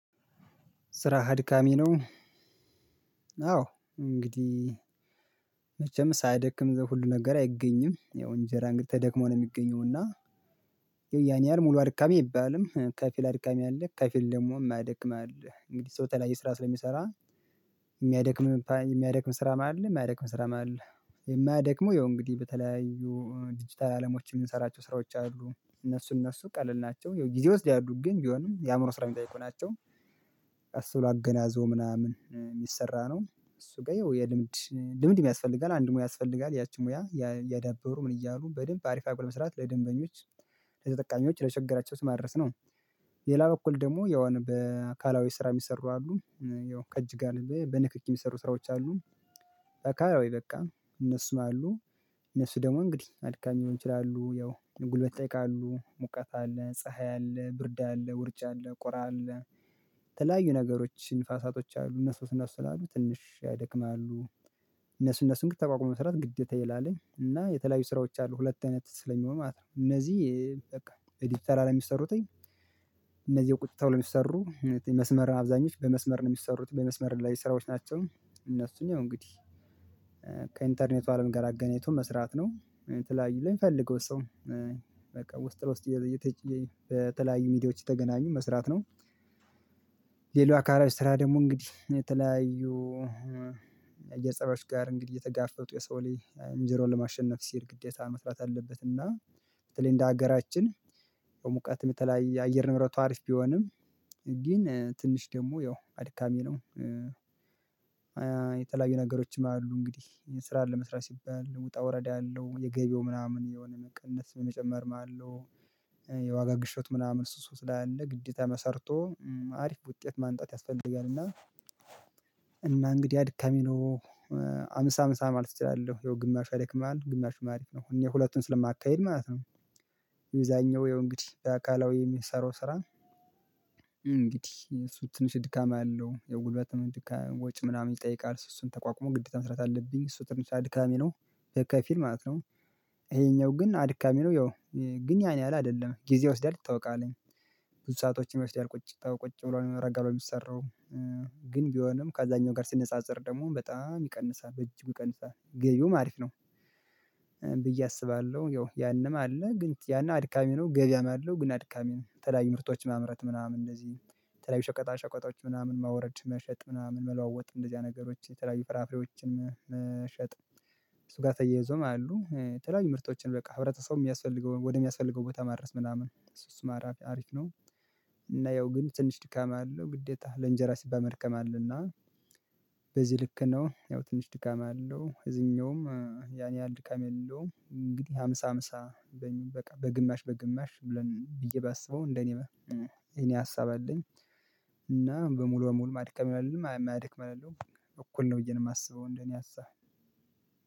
ስራ አድካሚ ነው። አዎ እንግዲህ መቼም ሳያደክም ዘው ሁሉ ነገር አይገኝም ያው እንጀራ እንግዲህ ተደክሞ ነው የሚገኘው እና ያን ያሀል ሙሉ አድካሚ አይባልም ከፊል አድካሚ ከፊል ደግሞ የማያደክም ስራ ስለሚሰራ የሚያደክም ስራ አለ። የማያደክመው ያው እንግዲህ በተለያዩ ዲጂታል አለሞች የምንሰራቸው ስራዎች አሉ እነሱ እነሱ ቀለል ናቸው ይሄው ጊዜ ይወስዳሉ ግን ቢሆንም የአእምሮ ስራ የሚጠይቁ ናቸው። ቀስ ብሎ አገናዘቦ ምናምን የሚሰራ ነው እሱ ጋር ይኸው የልምድ ልምድ የስፈልጋል አንድ ሙያ ያስፈልጋል ያቺን ሙያ እያዳበሩ ምን እያሉ በደንብ አሪፍ አርጎ መስራት ለደንበኞች ለተጠቃሚዎች ለቸገራቸው ማድረስ ነው። ሌላ በኩል ደግሞ ያው በአካላዊ ስራ የሚሰሩ አሉ ያው ከእጅ ጋር በንክኪ የሚሰሩ ስራዎች አሉ። አካላዊ በቃ እነሱ አሉ እነሱ ደግሞ እንግዲህ አድካሚ ሊሆን ይችላሉ ያው ጉልበት ይጠይቃሉ ሙቀት አለ ፀሀይ አለ ብርድ አለ ውርጫ አለ ቁራ አለ። የተለያዩ ነገሮች ንፋሳቶች አሉ እነሱ እነሱ ስላሉ ትንሽ ያደክማሉ። እነሱ እነሱን ግን ተቋቁሞ መስራት ግዴታ የላለኝ እና የተለያዩ ስራዎች አሉ ሁለት አይነት ስለሚሆን ማለት ነው። እነዚህ በቃ ዲጂታል አለም የሚሰሩትኝ እነዚህ ቁጭ ተብሎ የሚሰሩ መስመርን አብዛኞች በመስመር ነው የሚሰሩት በመስመር ላይ ስራዎች ናቸው። እነሱን እንግዲህ ከኢንተርኔቱ አለም ጋር አገናኝቶ መስራት ነው የተለያዩ ላይ ለሚፈልገው ሰው በቃ ውስጥ ለውስጥ በተለያዩ ሚዲያዎች እየተገናኙ መስራት ነው። ሌላው አካላዊ ስራ ደግሞ እንግዲህ የተለያዩ እየጸሮች ጋር እንግዲህ እየተጋፈጡ የሰው ልጅ እንጀራዉን ለማሸነፍ ሲሄድ ግዴታ መስራት አለበት እና በተለይ እንደ ሀገራችን በሙቀትም የተለያየ የአየር ንብረቱ አሪፍ ቢሆንም ግን ትንሽ ደግሞ ያው አድካሚ ነው። የተለያየ ነገሮችም አሉ እንግዲህ ስራ ለመስራት ሲባል ውጣ ወረድ አለው የገቢያው ምናምን የሆነ መቀነስ መጨመር አለው የዋጋ ግሽበት ምናምን እሱ እሱ ስላለ ግዴታ ሰርቶ አሪፍ ውጤት ማንጣት ያስፈልጋል እና። እና እንግዲህ አድካሚ ነው ሃምሳ ሃምሳ ማለት እችላለሁ ይሄው ግማሹ ያደክማል ግማሹ አሪፍ ነው እኔ ሁለቱን ስለማካሄድ ማለት ነው። የዛኛው ይሄው እንግዲህ በአካላዊ የሚሰሩ ስራ እንግዲህ እሱ ትንሽ ድካም አለው የጉልበትም ድካም ወጪ ምናምን ይጠይቃል እሱን እሱን ተቋቁሞ ግዴታ መስራት አለብኝ እሱ ትንሽ ድካሜ ነው ከፊል ማለት ነው። ይሄኛው ግን አድካሚ ነው ያው ግን ያን ያህል አይደለም ጊዜ ይወስዳል ይታውቃለኝ ብዙ ሰአቶችን ይወስዳል ቁጭ ታውቃ ቁጭ ብሎ ነው የምረጋው ነው የሚሰራው ግን ቢሆንም ከዛኛው ጋር ስነፃፀር ደግሞ በጣም ይቀንሳል በእጅጉ ይቀንሳል ገቢዉም አሪፍ ነው። ብዬ አስባለሁ ያው ያንም አለ ግን ያን አድካሚ ነው ገበያም ያለው ግን አድካሚ ነው የተለያዩ ምርቶች ማምረት ምናምን እነዚህ የተለያዩ ሸቀጣ ሸቀጦች ምናምን ማውረድ መሸጥ ምናምን መለዋወጥ እንደዚያ ነገሮች የተለያዩ ፍራፍሬዎችን መሸጥ እሱ ጋር ተያይዞም አሉ የተለያዩ ምርቶችን በቃ ህብረተሰቡ የሚያስፈልገውን ወደሚያስፈልገው ቦታ ማድረስ ምናምን እሱ እሱ ማራፊያ አሪፍ ነው። እና ያው ግን ትንሽ ድካም አለው ግዴታ ለእንጀራ ሲባል መደከም አለ እና በዚህ ልክ ነው ያው ትንሽ ድካም አለው እዚህኛውም ያን ያህል ድካም የለውም እንግዲህ ሃምሳ ሃምሳ በቃ በግማሽ በግማሽ ብለን ብዬ ባስበው እንደኔ የኔ ሀሳብ አለኝ። እና በሙሉ በሙሉ ማድከም አይደለም የማያድክም አይደለም እኩል ነው ብዬ ነው የማስበው እንደኔ ሀሳብ።